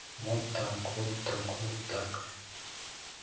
вот так вот так вот так